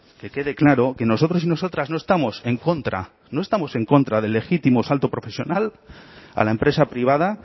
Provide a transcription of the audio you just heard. que quede claro que nosotros y nosotras no estamos en contra no estamos en contra del legítimo salto profesional a la empresa privada